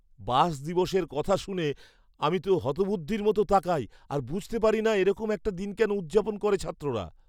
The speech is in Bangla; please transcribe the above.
বাস দিবসের কথা শুনে আমি তো হতবুদ্ধির মতো তাকাই আর বুঝতে পারিনা এরকম একটা দিন কেন উদযাপন করে ছাত্ররা।